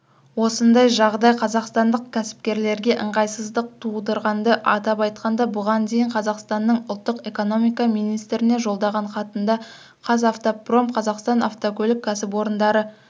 осындай жағдай қазақстандық кәсіпкерлерге ыңғайсыздық тудырғанды атап айтқанда бұған дейін қазақстанның ұлттық экономика министріне жолдаған хатында қазавтопром қазақстан автокөлік кәсіпорындары